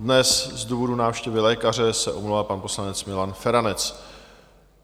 Dnes z důvodu návštěvy lékaře se omlouvá pan poslanec Milan Feranec.